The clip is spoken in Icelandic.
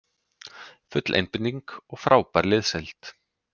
Full einbeiting og frábær liðsheild